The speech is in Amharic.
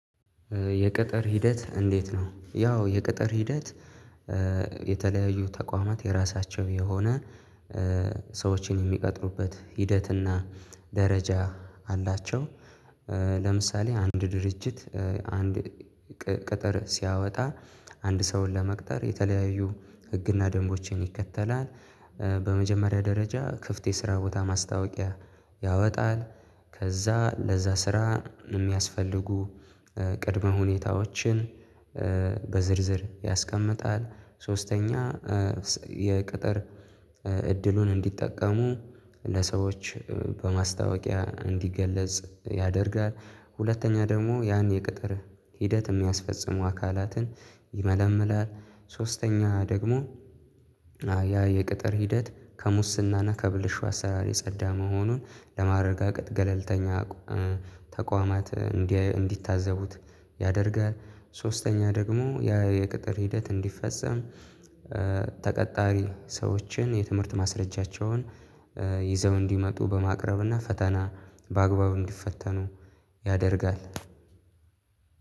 የቅጥር ሂደት እንዴት ነው? ያው የቅጥር ሂደት የተለያዩ ተቋማት የራሳቸው የሆነ ሰዎችን የሚቀጥሩበት ሂደት እና ደረጃ አላቸው። ለምሳሌ አንድ ድርጅት አንድ ቅጥር ሲያወጣ አንድ ሰውን ለመቅጠር የተለያዩ ህግና ደንቦችን ይከተላል። በመጀመሪያ ደረጃ ክፍት የስራ ቦታ ማስታወቂያ ያወጣል። ከዛ ለዛ ስራ የሚያስፈልጉ ቅድመ ሁኔታዎችን በዝርዝር ያስቀምጣል። ሶስተኛ የቅጥር እድሉን እንዲጠቀሙ ለሰዎች በማስታወቂያ እንዲገለጽ ያደርጋል። ሁለተኛ ደግሞ ያን የቅጥር ሂደት የሚያስፈጽሙ አካላትን ይመለምላል። ሶስተኛ ደግሞ ያ የቅጥር ሂደት ከሙስናና ከብልሹ አሰራር የጸዳ መሆኑን ለማረጋገጥ ገለልተኛ ተቋማት እንዲታዘቡት ያደርጋል። ሶስተኛ ደግሞ የቅጥር ሂደት እንዲፈጸም ተቀጣሪ ሰዎችን የትምህርት ማስረጃቸውን ይዘው እንዲመጡ በማቅረብና ፈተና በአግባቡ እንዲፈተኑ ያደርጋል።